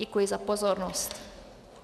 Děkuji za pozornost.